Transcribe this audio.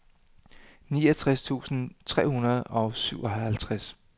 niogtres tusind tre hundrede og syvoghalvtreds